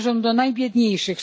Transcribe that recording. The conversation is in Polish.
Należą do najbiedniejszych.